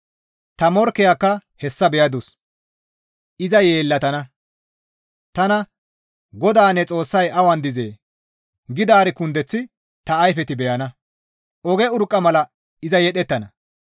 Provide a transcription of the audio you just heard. Ta morkkezakka hessa beyandus; iza yeellatana. Tana, «GODAA ne Xoossay awan dizee?» gidaari kundeth ta ayfeti beyana; oge urqqa mala iza yedhettana.